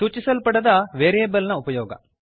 ಸೂಚಿಸಲ್ಪಡದ variableನ ಉಪಯೋಗ